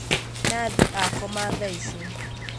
Nathi akoma thaici